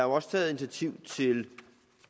også taget initiativ til